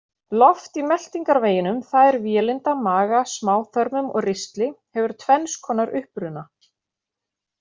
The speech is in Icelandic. Loft í meltingarveginum, það er vélinda, maga, smáþörmum og ristli, hefur tvenns konar uppruna.